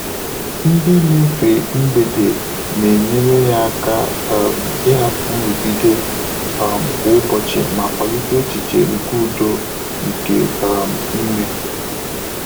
Ndị́ nà-éfè mgbèdé nà-ényéré yá áká um ị́hàpụ́ nrụ́gídé um kwá ụ́bọ̀chị̀ mà kwàlíté échíché nké údo nké um ímé.